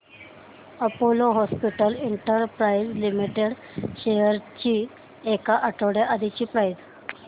Apollo hospitals enterprise limited shares ची एक आठवड्या आधीची प्राइस